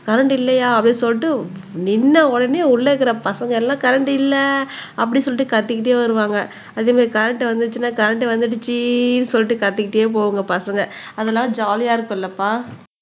current இல்லையா அப்படின்னு சொல்லிட்டு நின்ன உடனே உள்ள இருக்கிற பசங்க எல்லாம் கரண்ட் இல்லை அப்படி சொல்லிட்டு கத்திக்கிட்டே வருவாங்க அதே மாதிரி கரண்ட் வந்துச்சுன்னா கரண்ட் வந்துருச்சுன்னு சொல்லிட்டு காத்துக்கிட்டே போவாங்க பசங்க அதெல்லாம் ஜாலியா இருக்கும் இல்லப்பா